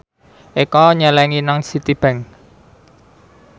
Eko nyelengi nang Citibank